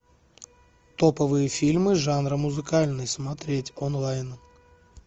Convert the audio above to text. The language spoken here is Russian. топовые фильмы жанра музыкальный смотреть онлайн